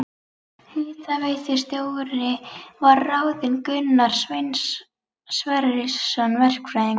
Hitaveitustjóri var ráðinn Gunnar Sverrisson verkfræðingur.